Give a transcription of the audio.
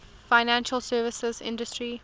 financial services industry